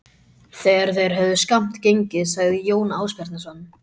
Þegar þeir höfðu skammt gengið sagði Jón Ásbjarnarson